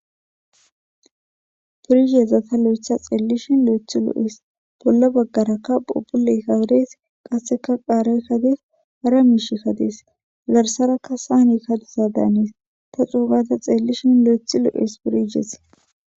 pirisezata lo7etha xeellishin lo7ethi lo7es bolla baggarakka pubuley kawodes qasseka qaaray kadees hara miish kadees zarsarakka saani kaduza daanees ta xuumata xeellishin lo7ethi lo7es purihees